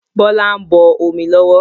Bọlá ń bọ̀ omi lọ́wọ́